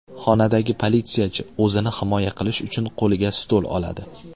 Xonadagi politsiyachi o‘zini himoya qilish uchun qo‘liga stul oladi.